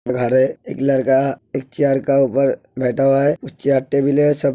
घर है एक लड़का एक चेयर का ऊपर बैठा हुआ है। सब।